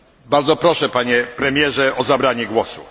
Bardzo proszę Panie Premierze o zabranie głosu!